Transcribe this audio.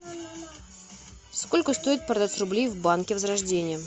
сколько стоит продать рубли в банке возрождение